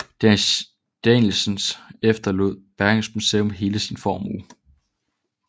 Danielssen efterlod Bergens Museum hele sin formue